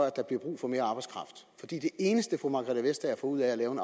at der bliver brug for mere arbejdskraft for det eneste fru margrethe vestager får ud af at lave en